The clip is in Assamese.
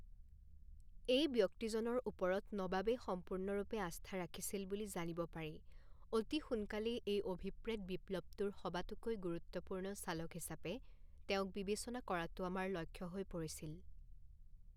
এই ব্যক্তিজনৰ ওপৰত নবাবে সম্পূৰ্ণৰূপে আস্থা ৰাখিছিল বুলি জানিব পাৰি, অতি সোনকালেই এই অভিপ্ৰেত বিপ্লৱটোৰ সবাতোকৈ গুৰুত্বপূৰ্ণ চালক হিচাপে তেওঁক বিবেচনা কৰাটো আমাৰ লক্ষ্য হৈ পৰিছিল।